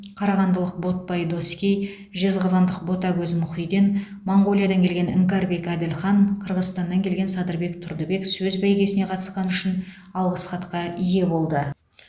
қарағандылық ботпай доскей жезқазғандық ботагөз мұхиден моңғолиядан келген іңкәрбек әділхан қырғызстаннан келген садырбек тұрдыбек сөз бәйгесіне қатысқаны үшін алғыс хатқа ие болды